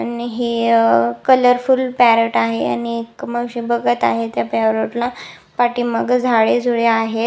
आणि हे अ कलर फुल पॅरोट आहे आणि अ एक मावशी बघत आहेत त्या पॅरोट ला पाठीमागे झाडे झुडे आहेत.